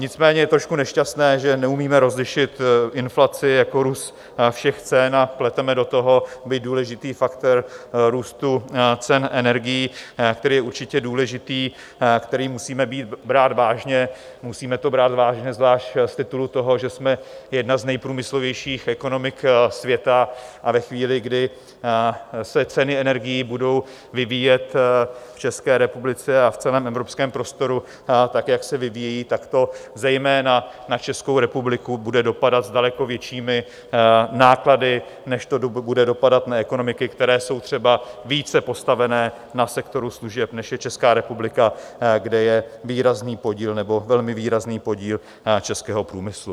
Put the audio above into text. Nicméně je trošku nešťastné, že neumíme rozlišit inflaci jako růst všech cen a pleteme do toho, byť důležitý, faktor růstu cen energií, který je určitě důležitý, který musíme brát vážně, musíme to brát vážně zvlášť z titulu toho, že jsme jedna z nejprůmyslovějších ekonomik světa, a ve chvíli, kdy se ceny energií budou vyvíjet v České republice a v celém evropském prostoru tak, jak se vyvíjejí, tak to zejména na Českou republiku bude dopadat s daleko většími náklady, než to bude dopadat na ekonomiky, které jsou třeba více postavené na sektoru služeb, než je Česká republika, kde je výrazný podíl, nebo velmi výrazný podíl českého průmyslu.